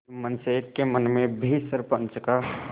जुम्मन शेख के मन में भी सरपंच का